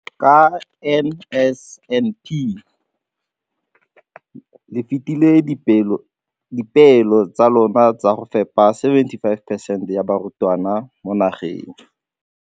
ka NSNP le fetile dipeelo tsa lona tsa go fepa 75 percent ya barutwana ba mo nageng.